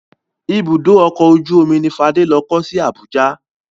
Ibùdó ọkọ̀ ojú omi ni Fádé lọ kọ́ sí Abuja.